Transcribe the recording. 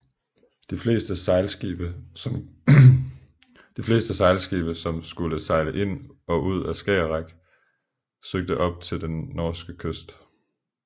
De fleste sejlskibe som skulle sejle ind og ud af Skagerrak søgte op til den norske kyst